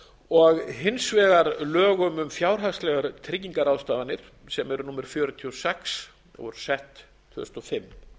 og hins vegar lögum um fjárhagslegar tryggingarráðstafanir sem eru númer fjörutíu og sex og voru sett tvö þúsund og fimm